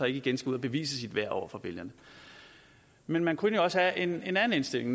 igen ud at bevise sit værd over for vælgerne men man kunne jo også have en en anden indstilling